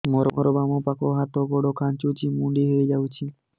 ମୋର ବାମ ପାଖ ହାତ ଗୋଡ ଖାଁଚୁଛି ମୁଡି ହେଇ ଯାଉଛି